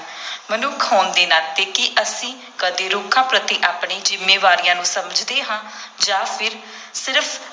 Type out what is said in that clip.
ਮਨੁੱਖ ਹੋਣ ਦੇ ਨਾਤੇ, ਕੀ ਅਸੀਂ ਕਦੇ ਰੁੱਖਾਂ ਪ੍ਰਤੀ ਆਪਣੀ ਜ਼ਿੰਮੇਵਾਰੀਆਂ ਨੂੰ ਸਮਝਦੇ ਹਾਂ ਜਾਂ ਫਿਰ ਸਿਰਫ